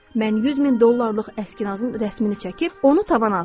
Mən 100 min dollarlıq əskinazın rəsmimi çəkib onu tavana asdım.